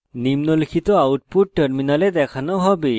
নিম্নলিখিত output terminal দেখানো হবে